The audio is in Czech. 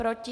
Proti?